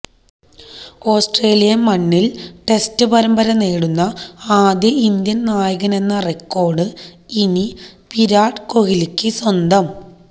Australian മണ്ണില് test പരമ്പര നേടുന്ന ആദ്യ ഇന്ത്യന് നായകനെന്ന റെക്കോര്ഡ് ഇനി വിരാട് കോഹ്ലിക്ക് സ്വന്തം